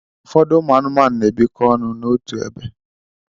Ụfọdụ anụmanụ na-ebikọ ọnụ n'otu ebe.